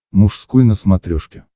мужской на смотрешке